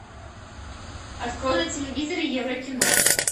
открой на телевизоре еврокино